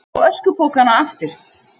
Vilja fá öskupokana aftur